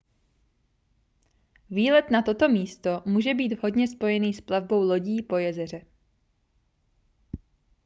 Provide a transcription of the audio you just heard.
výlet na toto místo může být vhodně spojený s plavbou lodí po jezeře